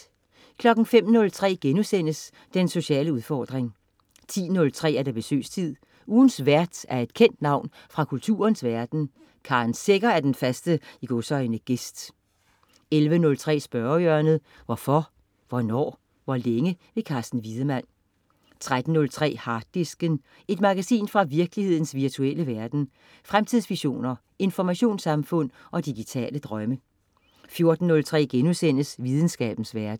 05.03 Den sociale udfordring* 10.03 Besøgstid. Ugens vært er et kendt navn fra kulturens verden. Karen Secher er den faste "gæst" 11.03 Spørgehjørnet. Hvorfor, hvornår, hvor længe? Carsten Wiedemann 13.03 Harddisken. Et magasin fra virkelighedens virtuelle verden. Fremtidsvisioner, informationssamfund og digitale drømme 14.03 Videnskabens verden*